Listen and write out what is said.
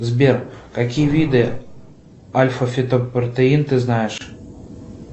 сбер какие виды альфафитопротеин ты знаешь